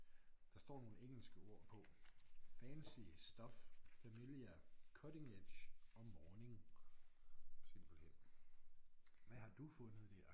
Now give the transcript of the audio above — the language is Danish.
Der står nogle engelske ord på fancy stuff familiar cutting edge og morning simpelthen. Hvad har du fundet der?